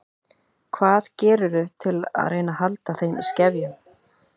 Hvað gerirðu til að reyna að halda þeim í skefjum?